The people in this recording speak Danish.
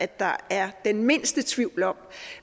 der er den mindste tvivl om